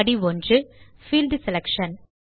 படி 1 - field selection